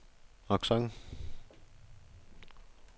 accent